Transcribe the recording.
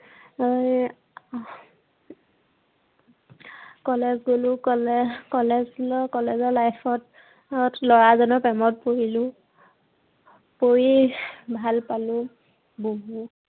college গলো college, college গৈ college ৰ class ত লৰা এজনৰ প্ৰেমত পৰিলো। পৰি ভাল পালো, বহুত